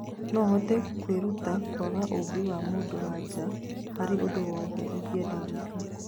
No hote kwĩrutĩra kwaga ũmbi wa mũndũ wa nja harĩ ũndũ wothe ingĩenda gwĩka